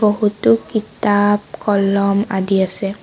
বহুতো কিতাপ কলম আদি আছে।